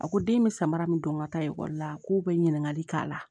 A ko den bɛ samara min don n ka taa ekɔli la k'o bɛ ɲininkali k'a la